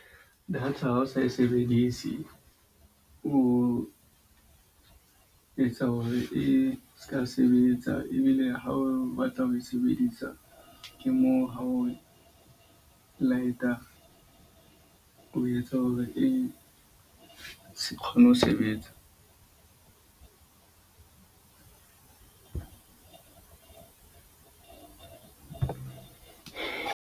Data ha o sa e sebedise, o etsa hore e seka sebetsa. Ebile ha o batla ho e sebedisa, ke moo ha o light-a o etsa hore e se kgone ho sebetsa.